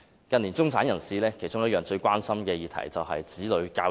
近年中產人士其中一項最關心的議題，就是子女教育。